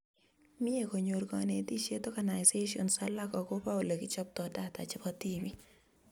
Mie konyor konetishet organisations alake akobo olekichoptoi data chebo tibiik